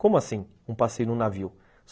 Como assim, um passeio num navio?